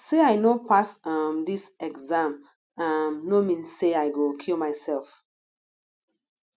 sey i no pass um dis exam um no mean sey i go kill mysef